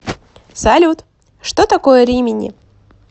салют что такое римини